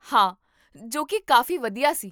ਹਾਂ! ਜੋ ਕੀ ਕਾਫ਼ੀ ਵਧੀਆ ਸੀ